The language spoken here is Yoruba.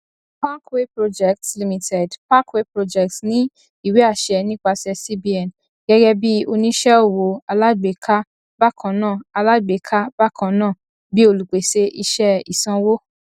parkway projects limited parkway projects ní ìwéàṣẹ nípasẹ cbn gẹgẹ bí oníṣẹ owó alágbèéká bákannáà alágbèéká bákannáà bí olùpèsè iṣẹ ìsanwó